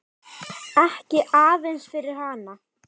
Ekki aðeins fyrir hana.